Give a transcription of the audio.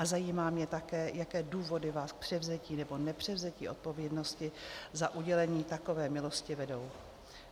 A zajímá mě také, jaké důvody vás k převzetí nebo nepřevzetí odpovědnosti za udělení takové milosti vedou.